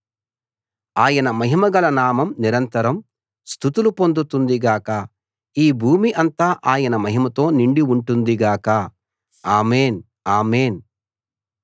ఆయన మహిమగల నామం నిరంతరం స్తుతులు పొందుతుంది గాక ఈ భూమి అంతా ఆయన మహిమతో నిండి ఉంటుంది గాక ఆమేన్‌ ఆమేన్‌